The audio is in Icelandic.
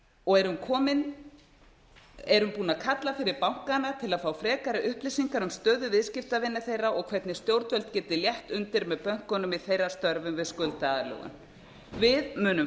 og erum búin að kalla fyrir bankana til að fá frekari upplýsingar um stöðu viðskiptavina þeirra og hvernig stjórnvöld geti létt undir með bönkunum í þeirra störfum við skuldaaðlögun við munum